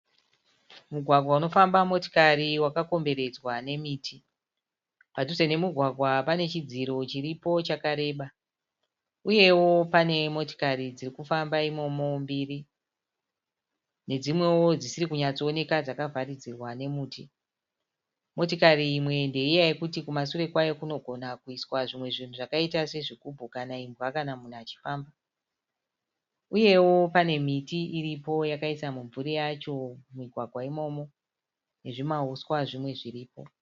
Mugwagwa unofamba motikari wakakomberedzwa nemiti. Padhuze nemugwagwa panechidziro chiripo chakareba uyewo pane motikari dzirikufamba imomo mbiri nedzimwewo dzisiri kunyatsooneka dzakavharidzirwa nemiti. Motikari iyi ndeiya yekuti kumasure kwayo kunogona kuiswa zvimwe zvinhu zvakaita sezvigibhu kana imbwa kana vanhu vachifamba. Uyewo panemimwe miti yakaisa mimvuri mumugwagwa imomo, nezvimauswa zvimwe zviripo.